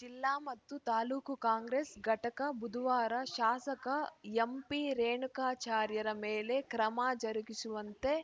ಜಿಲ್ಲಾ ಮತ್ತು ತಾಲೂಕು ಕಾಂಗ್ರೆಸ್‌ ಘಟಕ ಬುಧವಾರ ಶಾಸಕ ಎಂಪಿರೇಣುಕಾಚಾರ್ಯರ ಮೇಲೆ ಕ್ರಮ ಜರುಗಿಸುವಂತೆ